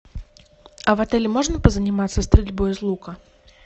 а в отеле можно позаниматься стрельбой из лука